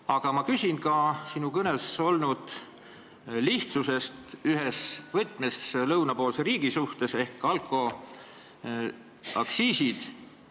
Aga ma küsin ka sinu kõnes olnud lihtsustuse kohta ühe lõunapoolse riigi ehk alkoaktsiiside mõttes.